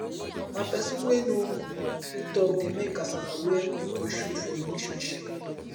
na pesin wey no tok dey mek kasala wear koikoi shoe for relationship